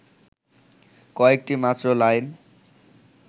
কয়েকটি মাত্র লাইন